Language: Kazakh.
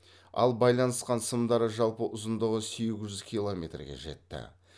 ал байланысқан сымдары жалпы ұзындығы сегіз жүз километрге жетті